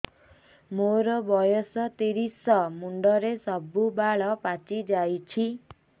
ମୋର ବୟସ ତିରିଶ ମୁଣ୍ଡରେ ସବୁ ବାଳ ପାଚିଯାଇଛି